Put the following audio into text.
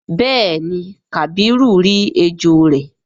béèni kabiru rí ejó rẹ.